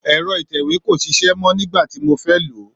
èro ìtẹ̀wé kò sisẹ́ mọ, nígbàtí mo fé lòó